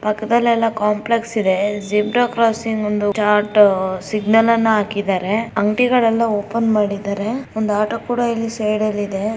ಪಕ್ದಲೆಲ್ಲ complex ಇದೆ zebra crossing ಒಂದು chart signal ಅನ್ನ ಹಾಕಿದರೆ. ಅಂಗಡಿಗಳೆಲ್ಲ ಓಪನ್ ಮಾಡಿದರೆ ಒಂದು ಆಟೋ ಕೂಡ ಇಲ್ಲಿ ಸೈಡ್ ಲ್ ಇದೆ.